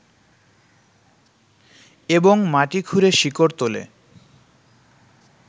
এবং মাটি খুঁড়ে শিকড় তোলে